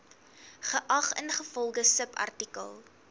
geag ingevolge subartikel